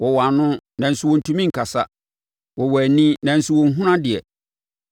Wɔwɔ ano, nanso wɔntumi nkasa; wɔwɔ ani, nanso wɔnhunu adeɛ.